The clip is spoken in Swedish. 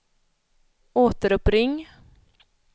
återuppring